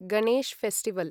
Ganesh festival